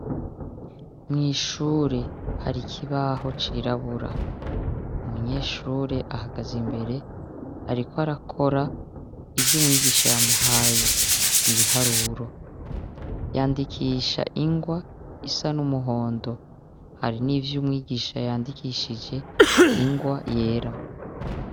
Mwishure hari ikibaho cirabura umunyeshure ahagaze imbere ariko arakora ivyo umwigisha yamuhaye ni ibiharuro yandikisha ingwa isa n'umuhondo hari n'ivyo umwigisha yandikishije ingwa wa yera.